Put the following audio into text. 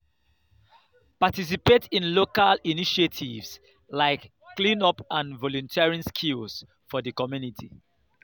participate in local initiative like clean-up and volunteering skills for di community